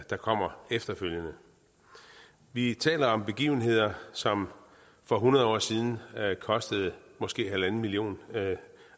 der kommer efterfølgende vi taler om begivenheder som for hundrede år siden kostede måske halvanden million